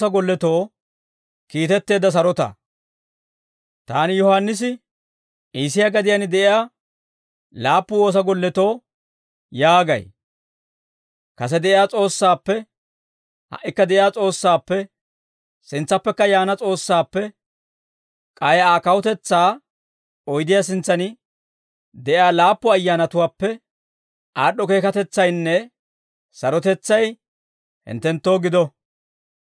Taani Yohaannisi, Iisiyaa gadiyaan de'iyaa laappu woosa golletoo yaagay; kase de'iyaa S'oossaappe, ha"ikka de'iyaa S'oossaappe, sintsappekka yaana S'oossaappe, K'ay Aa kawutetsaa oydiyaa sintsan de'iyaa laappu ayyaanatuwaappe, aad'd'o keekatetsaynne sarotetsay, hinttenttoo gido.